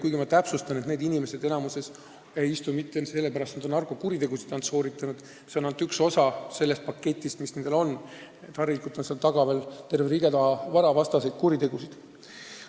Kuigi ma täpsustan, et enamikus ei istu need inimesed kinni mitte sellepärast, et nad on ainult narkokuritegusid sooritanud, narkokuriteod on vaid üks osa nende paketist, harilikult on seal lisaks veel terve rida varavastaseid kuritegusid.